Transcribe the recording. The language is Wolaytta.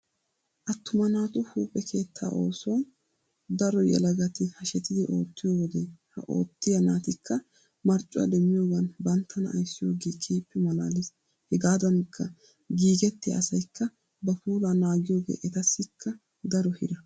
Attuma naatu huuphphe keettaa oosuwan daro yelagati hashetidi oottiyo wode ha oottiya naatikka marccuwa demmiyogan banttana ayssiyogee keehippe malaalees. Hegaadankka giigettiya asaykka ba puulaa naagiyogee etassikka daro hira.